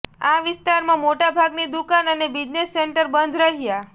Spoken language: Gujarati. આ વિસ્તારમાં મોટાભાગની દુકાન અને બિઝનેસ સેન્ટર બંધ રહ્યા